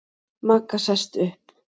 Magga sest upp.